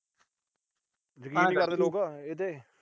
ਯਕੀਨ ਨੀ ਕਰਦੇ ਲੋਕ ਇਹਤੇ।